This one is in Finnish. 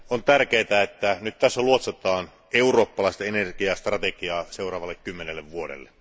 On tärkeää, että tässä luotsataan eurooppalaista energiastrategiaa seuraavalle kymmenelle vuodelle.